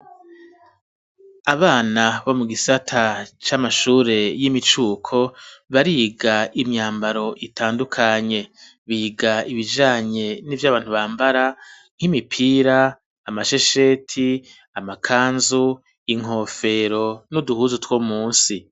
Abana bo mu gisata c'amashure y'imicuko bariga imyambaro itandukanye biga ibijanye n'ivyabantu bambara nk'imipira, amashesheti, amakanzu, inkofero n'uduhuzu two munsi.